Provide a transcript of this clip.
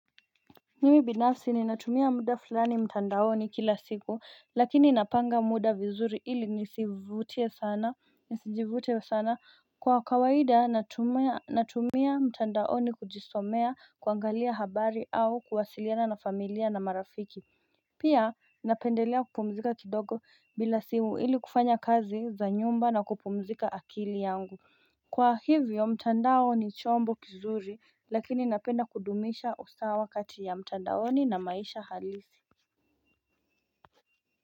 Mimi binafsi ni natumia muda fulani mtandaoni kila siku lakini napanga muda vizuri ili nisijivute sana kwa kawaida natumia mtandaoni kujisomea kuangalia habari au kuwasiliana na familia na marafiki Pia napendelea kupumzika kidogo bila simu ili kufanya kazi za nyumba na kupumzika akili yangu Kwa hivyo mtandao ni chombo kizuri lakini napenda kudumisha usawa kati ya mtandaoni na maisha halisi.